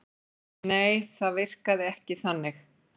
Nei það virkaði ekki þannig.